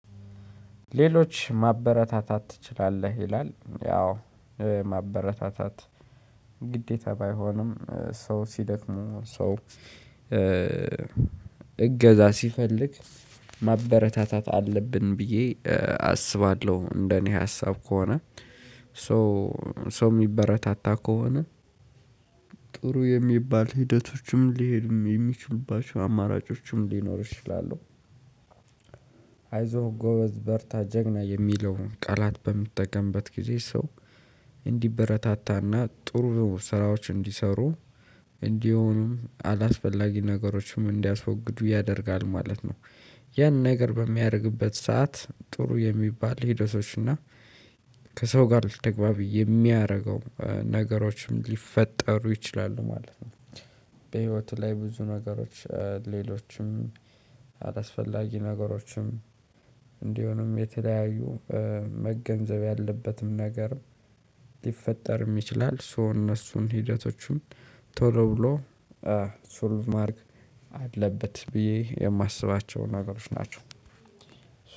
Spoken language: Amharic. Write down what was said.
ሌሎች ማበረታታት ትችላለህ ይላል ያው ማበረታታት ግዴታ ባይሆንም ሰው ሲደክሙ ሰው እገዛ ሲፈልግ ማበረታታት አለብን ብዬ አስባለሁ። እንደኔ ሀሳብ ከሆነ ሶ የሚበረታታ ከሆነ ጥሩ የሚባል ሂደቶችም ሊሄድም የሚችሉባቸው አማራጮችም ሊኖሩ ይችላሉ። አይዞህ ጎበዝ በርታ ጀግና የሚለውን ቃላት በምትጠቀምበት ጊዜ ሰው እንዲበረታታና ጥሩ ስራዎች እንዲሰሩ እንዲሁም አላስፈላጊ ነገሮችም እንዲያስወግዱ ያደርጋል ማለት ነው። ያን ነገር በሚያደርግበት ሰዓት ጥሩ የሚባል ሂደቶች እና ከሰው ጋር ተግባቢ የሚያደርገው ነገሮችም ሊፈጠሩ ይችላሉ ማለት ነው። በህይወትህ ላይ ብዙ ነገሮች ሌሎችም አላስፈላጊ ነገሮችም እንዲሆንም የተለያዩ መገንዘብ ያለበትም ነገር ሊፈጠርም ይችላል። ሶ እነሱን ሂደቶቹን ቶሎ ብሎ ሶልቭ ማድረግ አለበት ብዬ የማስባቸው ነገሮች ናቸው።